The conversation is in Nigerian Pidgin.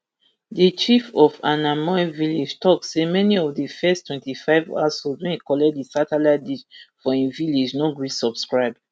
di chief of ainamoi village tok say many of di first twenty-five households wey collect di satelitte dish for im village no gree subscribe